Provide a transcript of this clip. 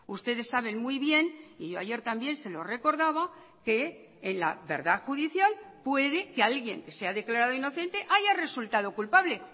ustedes saben muy bien y yo ayer también se lo recordaba que en la verdad judicial puede que alguien sea declarado inocente haya resultado culpable